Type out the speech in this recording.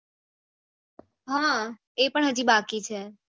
હા એ પણ હજી બાકી છે